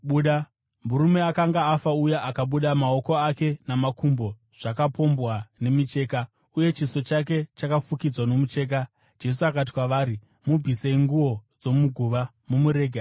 Murume akanga afa uya akabuda, maoko ake namakumbo zvakapombwa nemicheka, uye chiso chake chakafukidzwa nomucheka. Jesu akati kwavari, “Mubvisei nguo dzomuguva mumurege aende.”